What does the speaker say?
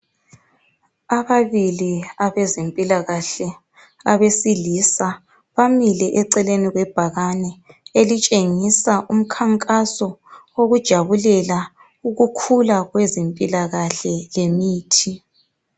Ababili abezempilakahle abesilisa bamile eceleni kwe bhakane, elitshengisa umkhankaso wokujabulela ukukhula kwezempilakahle lemithi.